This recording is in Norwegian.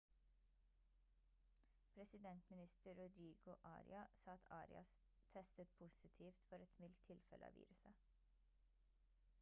presidentminister rodrigo aria sa at arias testet positivt for et mildt tilfelle av viruset